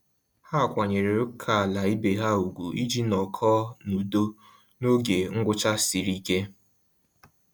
Ha kwanyere ókèala ibe ha ùgwù iji nọkọ na-udo n'oge ngwụcha sịrị ike